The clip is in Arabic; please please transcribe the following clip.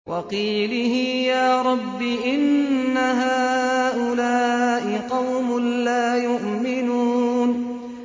وَقِيلِهِ يَا رَبِّ إِنَّ هَٰؤُلَاءِ قَوْمٌ لَّا يُؤْمِنُونَ